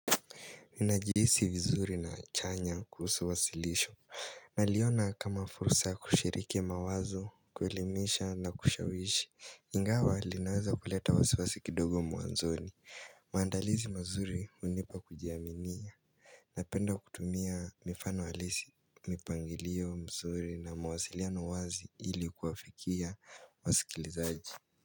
Ninajihisi vizuri na chanya kuhusu wasilisho Naliona kama fursa kushiriki mawazo, kuelimisha na kushawishi Ingawa linaweza kuleta wasiwasi kidogo mwanzoni maandalizi mazuri hunipa kujiaminia Napenda kutumia mifano halisi mipangilio nzuri na mawasiliano wazi ili kuwafikia wasikilizaji.